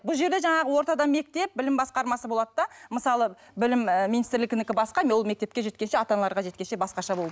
бұл жерде жаңағы ортада мектеп білім басқармасы болады да мысалы білім і министрілігінікі басқа ол мектепке жеткенше ата аналарға жеткенше басқаша болып